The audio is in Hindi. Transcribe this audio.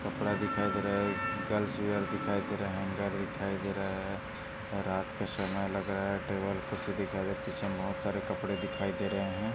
एक कपडा दिखाई दे रहा है गर्ल्स वियर दिखाई दे रहा है हँगर दिखाई दे रहा है रात का समय लग रहा है टेबल कुर्सी दिखाई दे रहे है और पीछे बहुत सारे कपडे दिखाई दे रहे है।